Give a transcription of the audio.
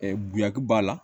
bonya kun b'a la